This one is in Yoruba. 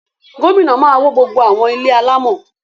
Gómìnà máa wó gbogbo àwọn ilé alámọ̀